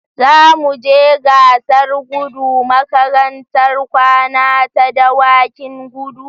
Za mu je gasar gudu makarantar kwana ta Dawakin kudu